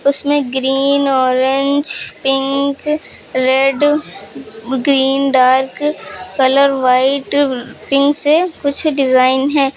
उसमें green orange pink red green dark colour white pink से कुछ डिजाइन है।